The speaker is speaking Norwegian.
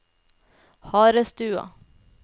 Harestua